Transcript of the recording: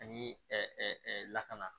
Ani lakana